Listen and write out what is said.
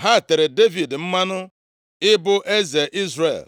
Ha tere Devid mmanụ + 5:3 Otite mmanụ a, bụ nke ugboro atọ a na-ete Devid ịbụ eze ndị Izrel. \+xt 1Sa 16:13; 2Sa 2:4\+xt* ịbụ eze Izrel.